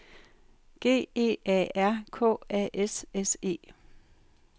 G E A R K A S S E